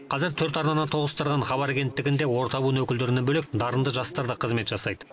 қазір төрт арнаны тоғыстырған хабар агенттігінде орта буын өкілдерінен бөлек дарынды жастар да қызмет жасайды